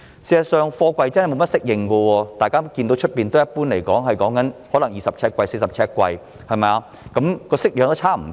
大家看到外面的貨櫃一般是20呎貨櫃、40呎貨櫃；顏色、外表也差不多。